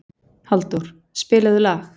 Halldór, spilaðu lag.